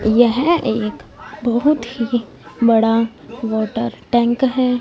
यह एक बहोत ही बड़ा वाटर टैंक हैं।